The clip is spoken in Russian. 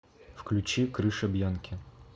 включи крыша бьянки